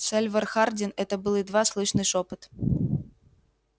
сальвор хардин это был едва слышный шёпот